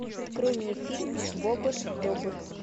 открой мне фильм бобр добр